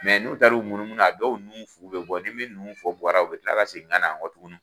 n'u taar'u munu munu a dɔw nun fu bɛ bɔ ni min nun fu bɔra u bɛ ka kila ka segin ka na yan kɔtuguni.